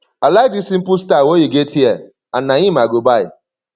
i like dis simple style wey you get here and na im i go buy